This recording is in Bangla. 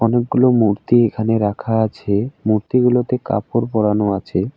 অনেকগুলো মূর্তি এখানে রাখা আছে মূর্তিগুলোতে কাপড় পড়ানো আছে ।